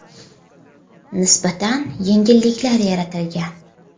Nisbatan yengilliklar yaratilgan.